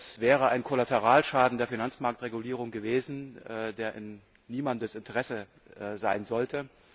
Das wäre ein Kollateralschaden der Finanzmarktregulierung gewesen, der in niemandes Interesse sein sollte.